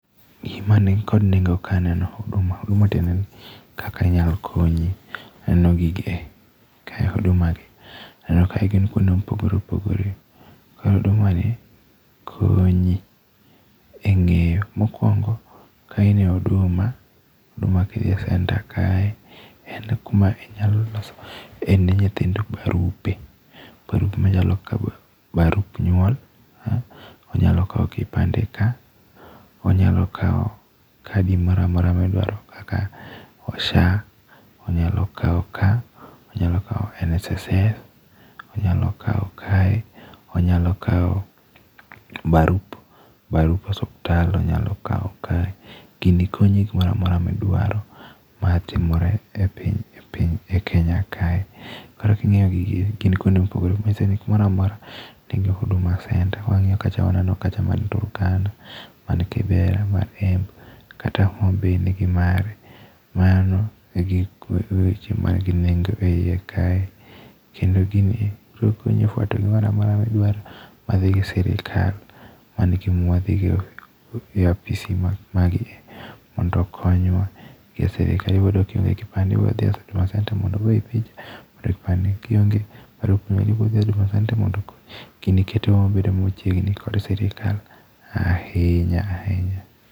Gima nikod nengo kae aneno Huduma, Huduma tiende ni kaka inyalo konyi aneno gigi e, mag huduma gi. Aneno ka gin kuonde mopogore opogore, koro hudumani, konyi e ng'eyo. Mokuongo ka in a Huduma huduma kidhi e centre kae en kuma inyalo loso nie nyithindo barupe. Barupe machalo kaka barup nyuol, onyalo kawo kipande ka, wanyalo kawo kadi moro amora midwaro kaka SHA wanyalo kawo ka, wanyalo kawo NSSF, wanyalo kawo kae wanyalo kawo barup barup osiptal wanyalo kawo kae gini konyi e gimoro amora midwaro e matimore piny e Kenya kae, Koro king'iyo gini gin kuonde ma opogore opogore nigi huduma centre, mar Turkana, man Kibra, man Embu kata Homa Bay nigi mare magi weche man gi nengo eiye kae kendo gini biri konyi efuarto gimoro amorora madhi gi sitrikal, mago egima wadhi go e apisi magie mondo okonywa. Kidhi yudo ka ionge kipande idhi huduma centre mondo ogoyi picha. Koro kionge barup to biro dhi huduma centre mondo. Gini ketowa machiegni gi sirikal ahinya ahinya.